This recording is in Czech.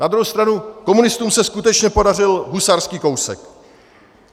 Na druhou stranu komunistům se skutečně podařil husarský kousek.